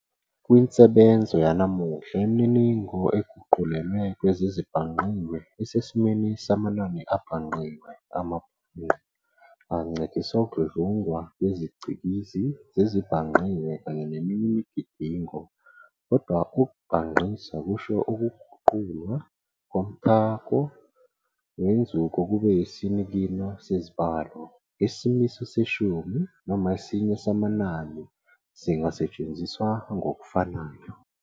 Kwinsebenzo yanamuhla, imininingo eguqulelwe kwezezibhangqiwe isesimweni samanani abhangqiwe, amabhangqa, ancedisa ukudludlungwa ngezicikizi zezibhangqiwe kanye neminye imigidingo, kodwa ukubhangqisa kusho "ukuguqulwa komthako wenzuko kube isinikino sezibalo", isimiso seshumi noma esinye samanani singasetshenziswa ngokufanayo.